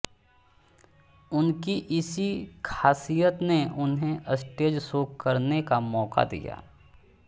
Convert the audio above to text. उनकी इसी खासियत ने उन्हें स्टेज शो करने का मौका दिया